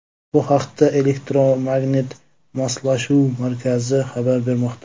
Bu haqda Elektromagnit Moslashuv Markazi xabar bermoqda .